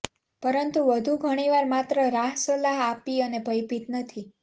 પરંતુ વધુ ઘણીવાર માત્ર રાહ સલાહ આપી અને ભયભીત નથી